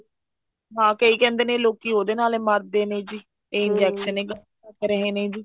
ਹਾਂ ਕਈ ਕਹਿੰਦੇ ਨੇ ਲੋਕੀ ਉਹਦੇ ਨਾਲ ਮਰਦੇ ਨੇ ਜੀ injection ਏ ਗਲਤ ਲੱਗ ਰਹੇ ਨੇ ਜੀ